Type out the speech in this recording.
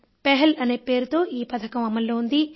పెహల్ అనే పేరుతో ఈ పథకం అమలులో ఉంది